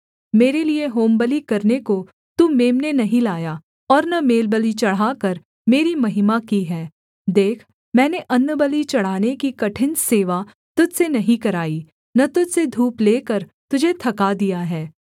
मेरे लिये होमबलि करने को तू मेम्ने नहीं लाया और न मेलबलि चढ़ाकर मेरी महिमा की है देख मैंने अन्नबलि चढ़ाने की कठिन सेवा तुझ से नहीं कराई न तुझ से धूप लेकर तुझे थका दिया है